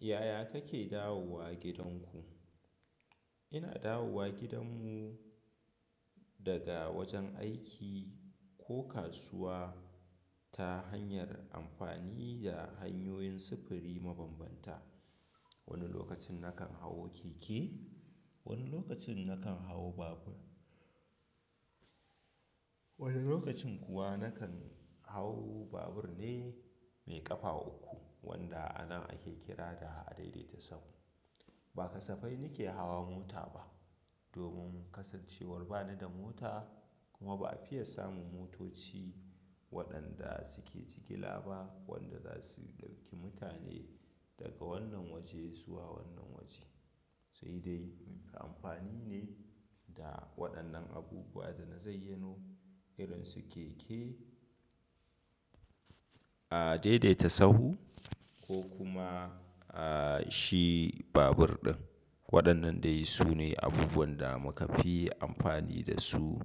Yaya kake dawowa gidanku? Ina dawowa gidan mu daga wajen aiki ko kasuwa ta hanyar amfani da hanyoyin sufuri mabambanta. Wani lokacin na kan hau keke, wani lokacin na kan hau babur. Wani lokacin kuwa na kan hau babur ne mai ƙafa uku wanda anan ake kira da adaidaita-sahu. Ba kasafai ni ke hawa mota ba domin kasancewar ba ni da mota kuma ba a fiya samun motoci waɗanda suke jigila ba wanda za su ɗauki mutane daga wannan waje zuwa wannan waje. Sai dai muke amfani ne da waɗannan abubuwa da na zayyanu irin su keke, adaidaita-sahu ko kuma, ah, shi babur ɗin. Waɗannan dai sune abubuwan da muka fi amfani da su